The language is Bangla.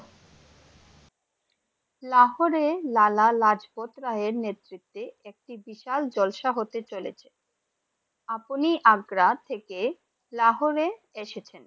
লাহোরে লাল লাজপত রায়ের নেতৃতে একটি বিশাল জলসা হতে চলেছে, আপনি আগ্রহ থেকে লাহোরে এসেছেন ।